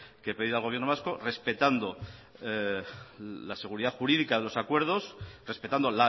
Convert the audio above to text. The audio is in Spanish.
que pedir al gobierno vasco respetando la seguridad jurídica de los acuerdos respetando